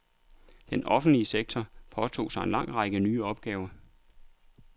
Den offentlige sektor påtog sig en lang række nye opgaver.